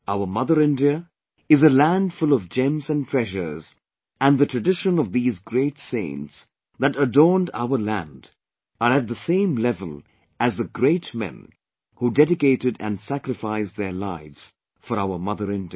Our mother India is a land full of gems and treasures and the tradition of these great saints that adorned our land are at the same level as the great men who dedicated and sacrificed their lives for our Mother India